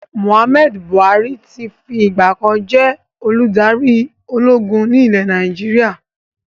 Muhammadu Buhari tí fi ìgbàkan jẹ́ olùdarí ológun ni ilẹ̀ Nàìjíríà